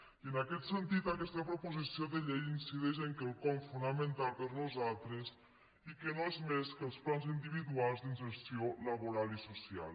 i en aquest sentit aquesta proposició de llei incideix en quelcom fonamental per nosaltres i que no és més que els plans individuals d’inserció laboral i social